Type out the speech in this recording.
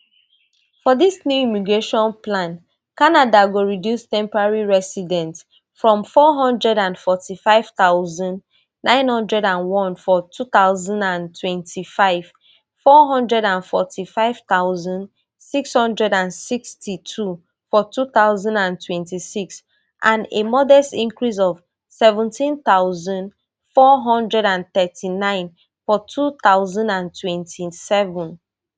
for dis new immigration plan canada go reduce temporary resident from four hundred and forty-five thousand, nine hundred and one for two thousand and twenty-five four hundred and forty-five thousand, six hundred and sixty-two for two thousand and twenty-six and a modest increase of seventeen thousand, four hundred and thirty-nine for two thousand and twenty-seven